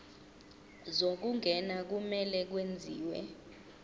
zokungena kumele kwenziwe